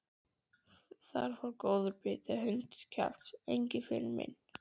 Þar fór góður biti í hundskjaft, Engiferinn minn.